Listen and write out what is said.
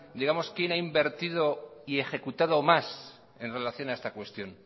digamos quién ha invertido y ejecutado más en relación a esta cuestión